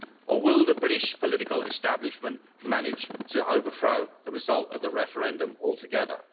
Or will the British political establishment manage to overthrow the result of the referendum altogether?